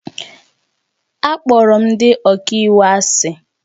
Akpọrọ m ndị ọka iwu asị